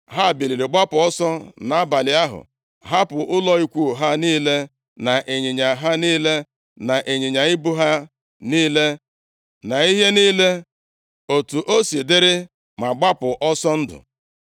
Ha biliri gbapụ ọsọ nʼabalị ahụ, hapụ ụlọ ikwu ha niile, na ịnyịnya ha niile, na ịnyịnya ibu ha niile, na ihe niile otu o si dịrị, ma gbapụ ọsọ ndụ.